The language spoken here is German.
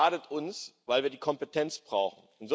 Denn das schadet uns, weil wir die Kompetenz brauchen.